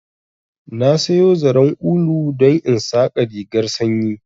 Na sayo zaren ulu don in saƙa rigarr sanyi